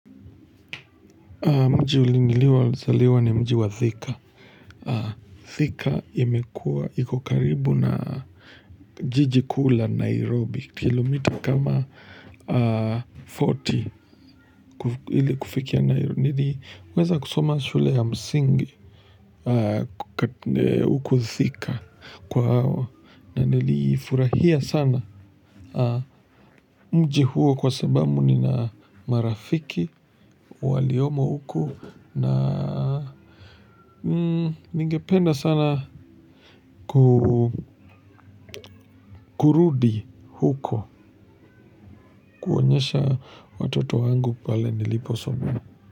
Mji nilio zaliwa ni mji wa Thika. Thika imekua iko karibu na jiji kuu la Nairobi Kilometer kama FortyHili kufikia Nairobi nili uweza kusoma shule ya msingi Kukatne huku Thika kwa hawa na niliifurahia sana. Mji huo kwa sababu nina marafiki waliomo huku na ningependa sana kurudi huko kuonyesha watoto wangu pale nilipo somea.